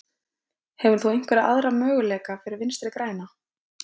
Hefur þú einhverja aðra möguleika fyrir Vinstri græna?